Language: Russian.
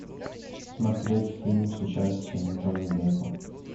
смотреть фильм с участием джонни деппа